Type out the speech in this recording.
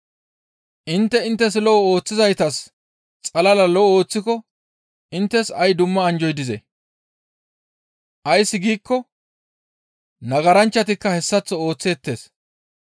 Intte inttes lo7o ooththizaytas xalala lo7o ooththiko inttes ay dumma anjjoy dizee? Ays giikko nagaranchchatikka hessaththo ooththeettes.